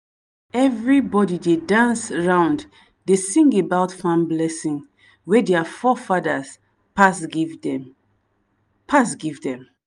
everybody dey dance round dey sing about farm blessing wey dia forefather pass give them. pass give them.